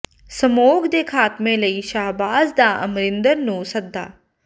smog ਦੇ ਖ਼ਾਤਮੇ ਲਈ ਸ਼ਾਹਬਾਜ਼ ਦਾ ਅਮਰਿੰਦਰ ਨੂੰ ਸੱਦਾ